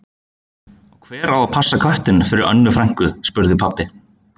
Og hver á að passa köttinn fyrir Önnu frænku? spurði pabbi.